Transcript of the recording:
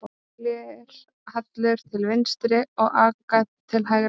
Glerhallur til vinstri og agat til hægri.